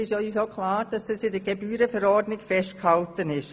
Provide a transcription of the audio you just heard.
Uns ist auch klar, dass dies in der Gebührenverordnung festgehalten ist.